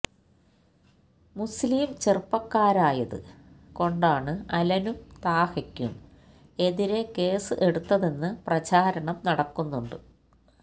മുസ്ലീം ചെറുപ്പക്കാരായത് കൊണ്ടാണ് അലനും താഹക്കും എതിരെ കേസ് എടുത്തതെന്ന് പ്രചാരണം നടക്കുന്നുണ്ട്